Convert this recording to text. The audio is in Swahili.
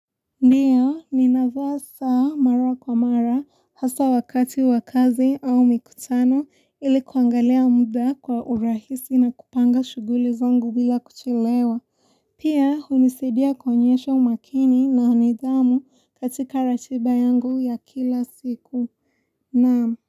Ndiyo, ninavaa sa mara kwa mara hasa wakati wakazi au mikutano ilikuangalia muda kwa urahisi na kupanga shughuli zangu bila kuchelewa. Pia, hunisaidia kuonyesho umakini na nidhamu katika ratiba yangu ya kila siku. Naam.